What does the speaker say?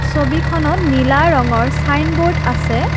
ছবিখনত নীলা ৰঙৰ চাইনব'ৰ্ড আছে।